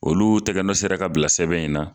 Olu tɛgɛnɔ sera ka bila sɛbɛn in na